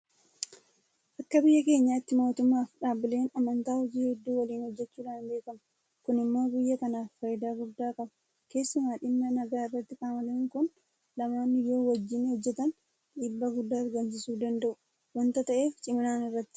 Akka biyya keenyaatti mootummaafi dhaabbileen amantaa hojii hedduu waliin hojjechuudhaan beekamu. Kun immoo biyya kanaaf faayidaa guddaa qaba. Keessumaa dhimma nagaa irratti qaamoleen kun lamaan yoo wajjin hojjetan dhiibbaa guddaa argamsiisuu danda'u waanta ta'eef ciminaan irratti hojjetamaa jira.